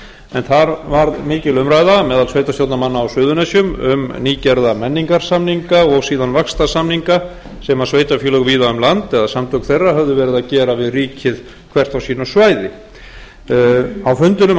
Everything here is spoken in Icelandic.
en þar var mikil umræða meðal sveitarstjórnarmanna á suðurnesjum um nýgerða menningarsamninga og síðan vaxtarsamninga sem sveitarfélög víða um land eða samtök þeirra höfðu verið að gera við ríkið hvert á sínu svæði á